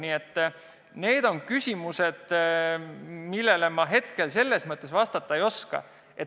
Nii et need on küsimused, millele ma hetkel vastata ei oska.